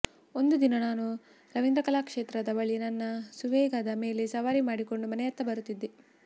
ಒಂದು ದಿನ ನಾನು ರವೀಂದ್ರ ಕಲಾಕ್ಷೇತ್ರದ ಬಳಿ ನನ್ನ ಸುವೇಗದ ಮೇಲೆ ಸವಾರಿ ಮಾಡಿಕೊಂಡು ಮನೆಯತ್ತ ಬರುತ್ತಿದ್ದೆ